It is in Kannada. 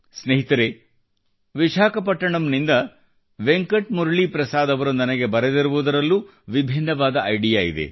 ಸ್ನೇಹಿತರೇ ವಿಶಾಖಪಟ್ಟಣಂ ನಿಂದ ವೆಂಕಟ್ ಮುರಳೀಪ್ರಸಾದ್ ಅವರು ನನಗೆ ಬರೆದಿರುವದರಲ್ಲೂ ವಿಭಿನ್ನವಾದ ಇಡಿಯಾ ಇದೆ